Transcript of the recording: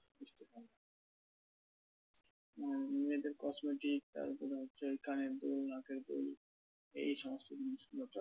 মানে মেয়েদের cosmetics তারপরে হচ্ছে ওই কানের দুল নাকের দুল এই সমস্ত জিনিসগুলো তো?